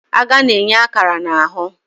Agha na-enye akara na ahụ.